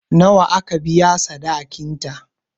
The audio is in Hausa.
Nawa aka biya sadakin ta?